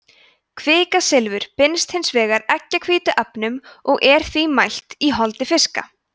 kvikasilfur binst hins vegar eggjahvítuefnum og er því mælt í holdi fiska